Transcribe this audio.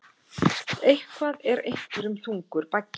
Eitthvað er einhverjum þungur baggi